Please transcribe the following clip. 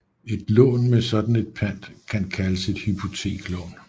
Et lån med sådan et pant kan kaldes et hypoteklån